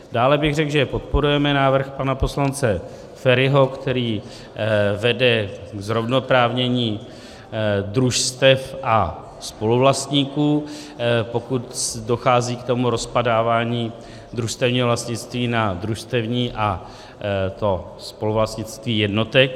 Dále bych řekl, že podporujeme návrh pana poslance Feriho, který vede k zrovnoprávnění družstev a spoluvlastníků, pokud dochází k tomu rozpadávání družstevního vlastnictví na družstevní a to spoluvlastnictví jednotek.